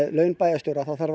laun bæjarstjóra þá þarf